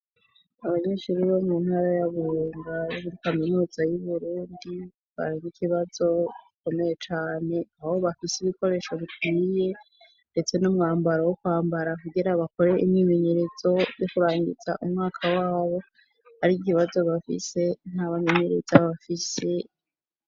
Abanyeshuri bo mu ntara y'aburunga ,muri kaminuza y'Uburundi ,barin'ikibazo gikomeye cane ,aho bafise ibikoresho bikwiye ndetse n'umwambaro wo kwambara kugira bakore imyemenyerezo yo kurangiza umwaka wabo, ari ikibazo bafise ntabamenyereza bafise.